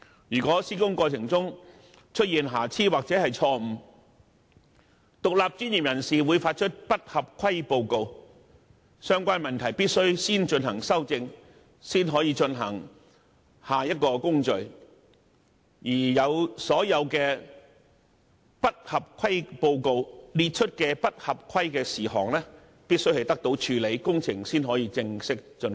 如果在施工過程中出現瑕疵或錯誤，獨立專業人士會發出不合規報告，要求先行修正有關問題，然後才展開下一個工序，而不合規報告列出的所有不合規事項都必須獲得妥善處理，工程才可以正式竣工。